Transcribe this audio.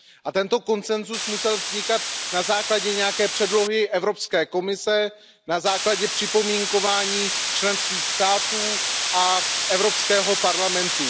A tento konsenzus musel vznikat na základě nějaké předlohy Evropské komise, na základě připomínkování členských států a Evropského parlamentu.